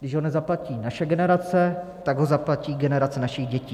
Když ho nezaplatí naše generace, tak ho zaplatí generace našich dětí.